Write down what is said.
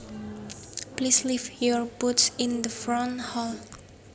Please leave your boots in the front hall